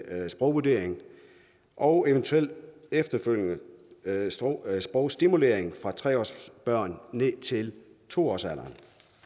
sprogvurdering og eventuelt efterfølgende sprogstimulering fra tre årsalderen ned til to års alderen